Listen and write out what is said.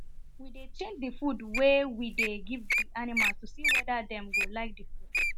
we dey change the food wen we dey give the animals to see weda dem go like the food